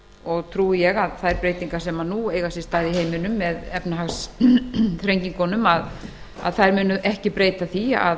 og trúi ég að þær breytingar sem nú eiga sér stað í heiminum með efnahagsþrengingunum muni ekki breyta því